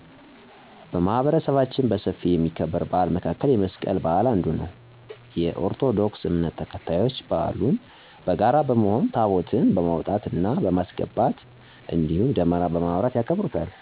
በማህበረሰባችን በሰፊ ከሚከበር በዓል መካከል የመስቀል በዓል አንዱ ነው። የኦርቶዶክስ እምነት ተከታዮች በዓሉን በጋራ በመሆን ታቦታትን በማውጣት እና በማስገባት እንዲሁም ደመራ በማብራት ያከብሩታል።